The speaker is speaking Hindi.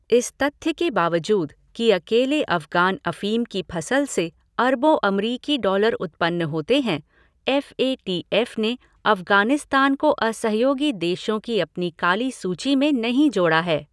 इस तथ्य के बावजूद कि अकेले अफ़गान अफ़ीम की फ़सल से अरबों अमरीकी डालर उत्पन्न होते हैं, एफ़एटीएफ़ ने अफ़गानिस्तान को असहयोगी देशों की अपनी काली सूची में नहीं जोड़ा है।